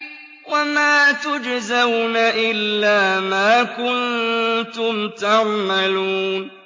وَمَا تُجْزَوْنَ إِلَّا مَا كُنتُمْ تَعْمَلُونَ